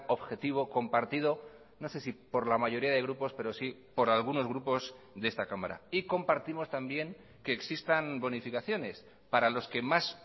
objetivo compartido no sé si por la mayoría de grupos pero sí por algunos grupos de esta cámara y compartimos también que existan bonificaciones para los que más